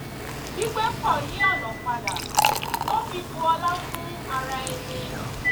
gbígbé pọ̀ yí ọ̀nà padà tó fi bù ọlá fún ara ẹni